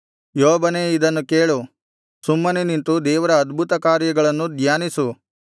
ಯೋಬನೇ ಇದನ್ನು ಕೇಳು ಸುಮ್ಮನೆ ನಿಂತು ದೇವರ ಅದ್ಭುತಕಾರ್ಯಗಳನ್ನು ಧ್ಯಾನಿಸು